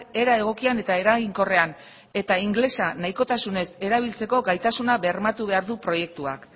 era egokian eta eraginkorrean eta ingelesa nahikotasunez erabiltzeko gaitasuna bermatu behar du proiektuak